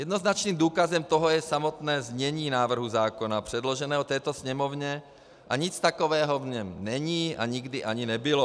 Jednoznačným důkazem toho je samotné znění návrhu zákona předloženého této Sněmovně a nic takového v něm není a nikdy ani nebylo.